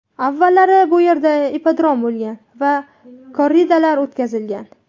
Avvallari bu yerda ippodrom bo‘lgan va korridalar o‘tkazilgan.